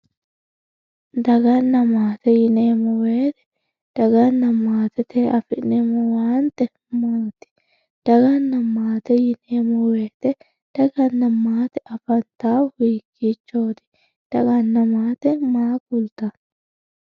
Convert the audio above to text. daganna maate yineemmo woyte ,daganna maatettewiinni afi'neemmo owaante maati? daganna maate yineemmo woyte daganna maate afantahu hiikkichooti? daganna maate maa kultanno?